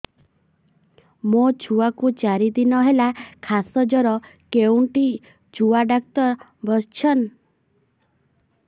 ମୋ ଛୁଆ କୁ ଚାରି ଦିନ ହେଲା ଖାସ ଜର କେଉଁଠି ଛୁଆ ଡାକ୍ତର ଵସ୍ଛନ୍